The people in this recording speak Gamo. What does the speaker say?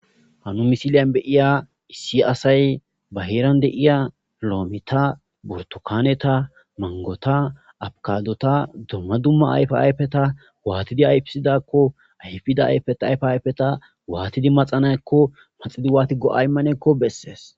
Ha misiliya de7iya issi asay ba heeraan de7iya loometha, burththukaanetha, manggotha, avocaadotha dumma dumma ayfaa ayfetha waathidi ayfissidaakko ayfida ayfaa ayfetha waathidi maxana7ekko maxidi waathi go7aa immaneekko bessees.